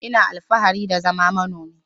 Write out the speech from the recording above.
Ina alfahari da zama manomi.